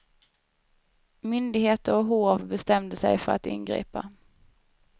Myndigheter och hov bestämde sig för att ingripa.